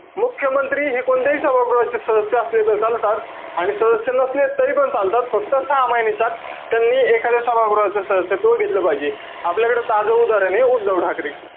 मुख्यमंत्री हे कोणत्याही सभागृहाचे सदस्य असले त चालतात. आणि सदस्य नसले तरीपण चालतात. फक्त सहा महिन्याच्या आत, त्यांनी एखाद्या सभागृहाचं सदस्यत्व घेतलं पाहिजे. आपल्याकडं ताजं उदाहरणे, उद्धव ठाकरे.